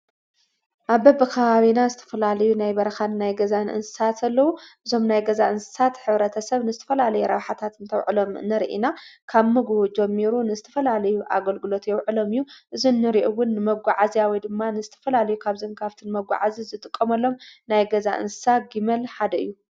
ኣብ ከበብኻ ርና ስተፈላልዩ ናይ በርኻን ናይ ገዛ ንእንሳ ተለዉ ዞም ናይ ገዛ እንሳት ኅብረተ ሰብ ንስትፈላሊ ራውኃታት እንተውዕሎም ነርኢና ካብ ምግሁ ጀሚሩ ንስትፈላልዩ ኣገልግሎት የውዕሎምዩ እዝንሪእውን መጕዓ እዚያዊ ድማ ንስትፈላልዩ ካብ ዘንካፍትን መጕዓ እዝ ዝጥቆመሎም ናይ ገዛ እንስሳ ጊመል ሓደ እዩ።